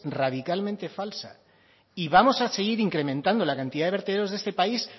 radicalmente falsa y vamos a seguir incrementando la cantidad de vertederos de este país